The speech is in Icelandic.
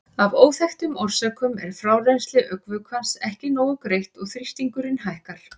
Af óþekktum orsökum er frárennsli augnvökvans ekki nógu greitt og þrýstingurinn hækkar.